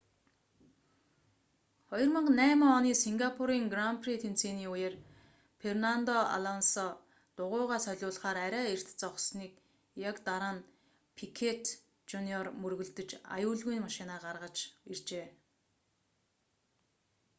2008 оны сингапурын гран при тэмцээний үеэр фернандо алонсо дугуйгаа солиулахаар арай эрт зогссоны яг дараа нь пикёт жуниор мөргөлдөж аюулгүйн машинаа гаргаж иржээ